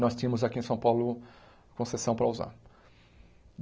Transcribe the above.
Nós tínhamos aqui em São Paulo concessão para usar.